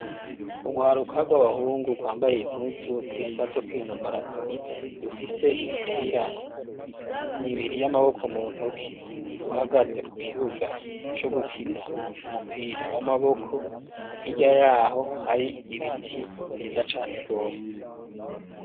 Ugwaruka rw'abahungu rwambaye impuzu zisa zo kwinonora imitsi, rufise imipira ibiri y'amaboko mu ntoki, ruhagaze ku kibuga co gukina umupira w'amaboko, hirya yaho hari ibiti vyiza cane rwose.